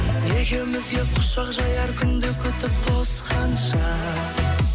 екеумізге құшақ жаяр күнді күтіп тосқанша